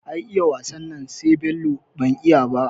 Ai iya wasan nan sai Bello, ban iya ba